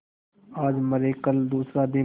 आज मरे कल दूसरा दिन